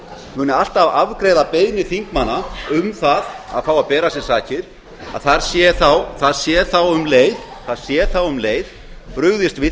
muni alltaf afgreiða beiðnir þingmanna um það að fá að bera af sér sakir það sé þá um leið brugðist við